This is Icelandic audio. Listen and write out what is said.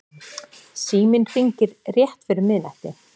Síminn hringir rétt fyrir miðnætti.